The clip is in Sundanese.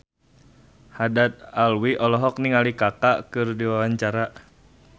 Haddad Alwi olohok ningali Kaka keur diwawancara